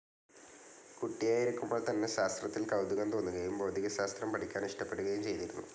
കുട്ടിയായിരിക്കുമ്പോൾ തന്നെ ശാസ്ത്രത്തിൽ കൗതുകം തോന്നുകയും ഭൗതികശാസ്ത്രം പഠിക്കാനിഷ്ടപ്പെടുകയും ചെയ്തിരുന്നു.